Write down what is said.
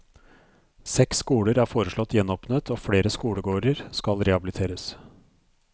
Seks skoler er foreslått gjenåpnet og flere skolegårder skal rehabiliteres.